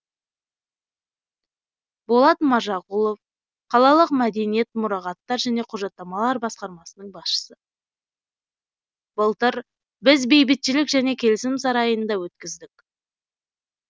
болат мажағұлов қалалық мәдениет мұрағаттар және құжаттамалар басқармасының басшысы былтыр біз бейбітшілік және келісім сарайында өткіздік